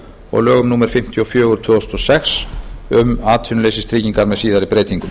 og lögum númer fimmtíu og fjögur tvö þúsund og sex um atvinnuleysistryggingar með síðari breytingum